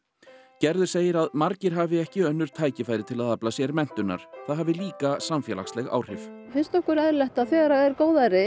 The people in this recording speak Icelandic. gerður segir að margir hafi ekki önnur tækifæri til að afla sér menntunar það hafi líka samfélagsleg áhrif finnst okkur eðlilegt að þegar er góðæri